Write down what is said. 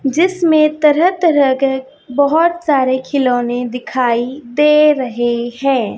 जिसमें तरह तरह के बहुत सारे खिलौने दिखाई दे रहे है।